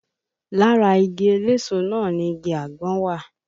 Lára igi eléso náà ni igi àgbọn wà